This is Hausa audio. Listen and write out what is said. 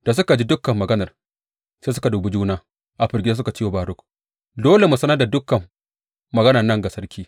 Da suka ji dukan maganar, sai suka dubi juna a firgice suka ce wa Baruk, Dole mu sanar da dukan maganan nan ga sarki.